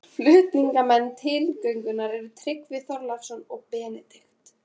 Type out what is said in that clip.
Flutningsmenn tillögunnar voru Tryggvi Þórhallsson og Benedikt